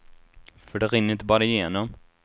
För det rinner inte bara igenom.